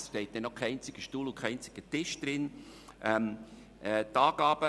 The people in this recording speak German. Es steht noch kein einziger Stuhl und kein einziger Tisch in dem Gebäude.